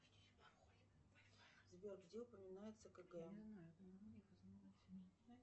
сбер где упоминается кэгэ